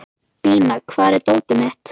Bína, hvar er dótið mitt?